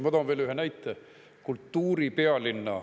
Ma toon veel ühe näite.